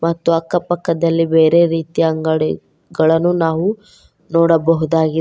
ಮತ್ತು ಅಕ್ಕ ಪಕ್ಕದಲ್ಲಿ ಬೇರೆ ರೀತಿಯ ಅಂಗಡಿಗಳನ್ನು ನಾವು ನೋಡಬಹುದಾಗಿದೆ.